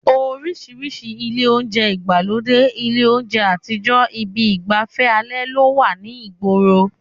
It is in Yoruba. Oríṣiríṣi ilé oúnjẹ ìgbàlódé, ilé oúnjẹ àtijọ́, ibi ìgbàfẹ́ alẹ́ ló wà ní ìgboro